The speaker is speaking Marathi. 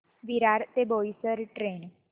विरार ते बोईसर ट्रेन